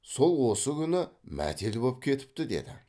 сол осы күні мәтел боп кетіпті деді